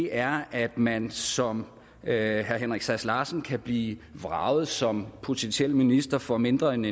er at man som herre henrik sass larsen kan blive vraget som potentiel minister for mindre end